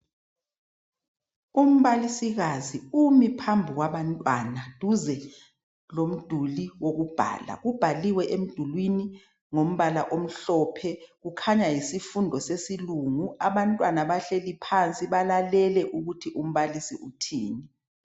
Umbalisikazi umi phambi kwabantwana duze lomduli wokubhala kubhaliwe emdulwini ngombala omhlophe kukhanya yisifundo sesilungu abantwana bahleli phansi balalele ukuthi umbalisi uthini.